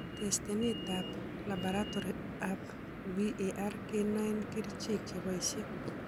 Testeneet ab labaratory ab VRE kenoen kercheek cheboisie